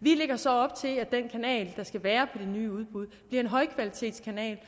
vi lægger så op til at den kanal der skal være det nye udbud bliver en højkvalitetskanal